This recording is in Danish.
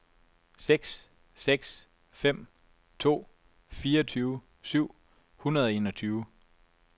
seks seks fem to fireogtyve syv hundrede og enogtyve